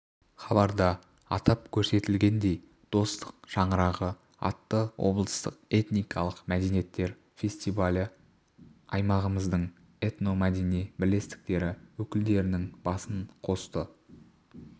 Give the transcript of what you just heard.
хабарда атап көрсетілгендей достық шаңырағы атты облыстық этникалық мәдениеттер фестивалі аймағымыздың этномәдени бірлестіктері өкілдерінің басын қосты